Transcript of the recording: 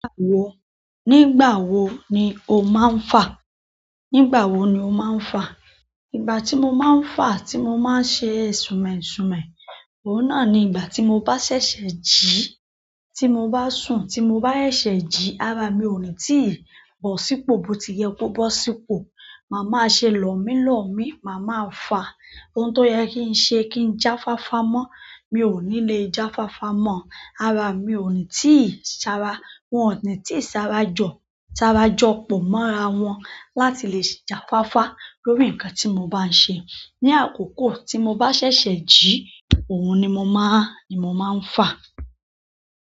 Wo, nígbà wo ni o máa ń fà? Nígbà wo ni o máa ń fà? Ìgbà tí mo máa ń fà, tí mo máa ń ṣe sumesume, ohun náà ni ìgbà tí mo bá ṣẹ̀ṣẹ̀ jí, tí mo bá sùn, tí mo bá ṣẹ̀ṣẹ̀ jí ara mi òní tí ì bọ̀ sípò, bó ti yẹ kó bọ́ sípò. Màá máa ṣe lọ mí lọ mí, màá máa fà. Ohun tó yẹ kí n se kí n já fáfá mọ́, mi ò ní lè já fáfá mọ́. Ara mi ò ní tí i sa ra wọn ní tí ì sara jọ, sara jọ pọ̀ mọ́ ra wọn láti lè já fáfá lórí nǹkan tí mo bá ń se. Ni àkókò tí mo bá ṣẹ̀ṣẹ̀ jí, ohun ni mo máa, ni mo máa ń fa.